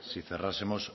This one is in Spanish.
si cerrásemos